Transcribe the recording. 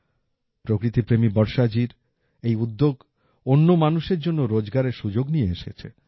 প্রকৃতিপ্রেমী বর্ষাজি এই উদ্যোগ অন্য মানুষের জন্যও রোজগারের সুযোগ নিয়ে এসেছে